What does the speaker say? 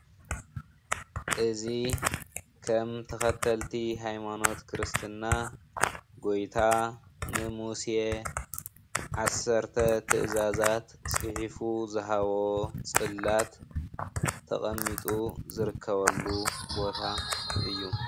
እዚ ከም ተከተልቲ ሃይማኖት ክርስትና ጎይታ ንሙሴ ዓሰርተ ትእዛዛት ፅሒፉ ዝሃቦ ፅላት ተቀሚጡ ዝርከበሉ ቦታ እዩ።